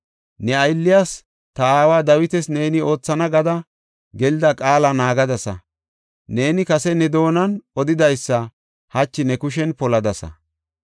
Ne aylliyas, ta aawa Dawitas, neeni oothana gada gelida qaala naagadasa. Neeni kase ne doonan odidaysa hachi ne kushen poladasa.